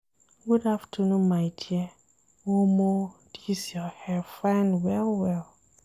Good afternoon my dear, omo dis your hair fine well-well.